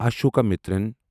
Ashokamitran